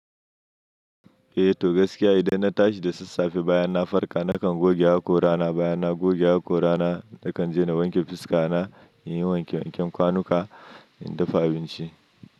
Eh, toh gaskiya idan na tashi da sassafe baya na farka nakan goge haƙora na, baya na goge haƙora na, dakan jina wanke fuska na, in yi wanke wanken kwanuka in dafa abinci.